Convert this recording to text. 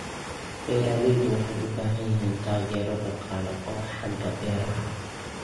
Beeraleydu waxay u baahan yihiin taageero dhaqaale oo xagga beeraha ah.